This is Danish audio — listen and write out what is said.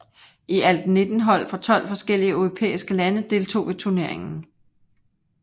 I alt 19 hold fra 12 forskellige europæiske lande deltog ved turneringen